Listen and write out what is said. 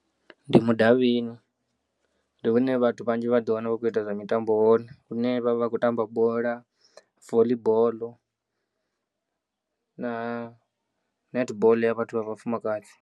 Ndi mudavhini, ndi hune vhathu vhanzhi vha ḓiwana vha tshi khou ita zwa mitambo hone hune vha vha vha khou tamba bola, voḽi boḽo na netboḽo ya vhathu vha vhafumakadzi.